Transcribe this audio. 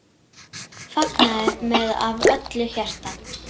Fagnaði með af öllu hjarta.